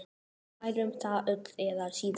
Við lærum það öll eða síðar.